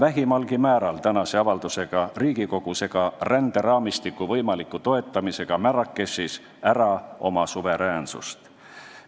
Eesti ei anna tänase avaldusega Riigikogus ega ränderaamistiku võimaliku toetamisega Marrakechis vähimalgi määral ära oma suveräänsust.